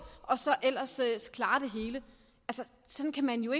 og så ellers ellers klarer det hele sådan kan man jo